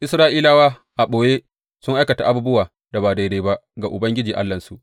Isra’ilawa a ɓoye sun aikata abubuwan da ba daidai ba ga Ubangiji Allahnsu.